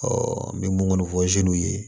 n bɛ mun kɔni fɔ ye